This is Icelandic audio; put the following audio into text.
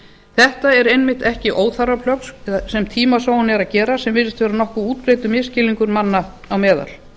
þetta eru einmitt ekki óþarfa sem tímasóun er að gera sem virðist vera nokkuð útbreiddur misskilningur manna á meðal